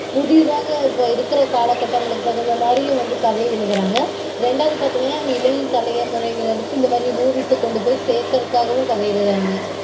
புதியதாக இப்போ இருக்கற காலகட்டங்களுக்கு தகுந்த மாதிரியும் வந்து கதை எழுதறாங்க. ரெண்டாவது பாத்தீங்கனா வந்து இளம் தலைமுறையினருக்கு இந்த மாதிரி movies -அ கொண்டு போய் சேக்கறதுக்காகவும் கதை எழுதறாங்க